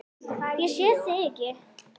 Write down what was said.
Ég sé þig ekki.